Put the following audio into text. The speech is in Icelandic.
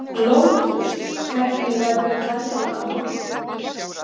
Lótus, hvernig verður veðrið á morgun?